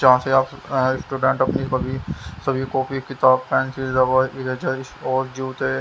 जहाँ से आप स्टूडेंट अपनी कभी सभी कॉपी किताब पेंसिल रबर इरेजर और जूते।